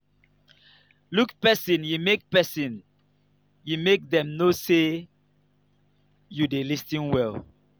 look pesin ye make pesin ye make dem know sey you dey lis ten well.